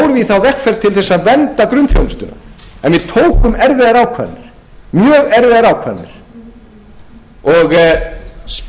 þá vegferð til að vernda grunnþjónustuna en við tókum erfiðar ákvarðanir mjög erfiðar ákvarðanir og spurningin er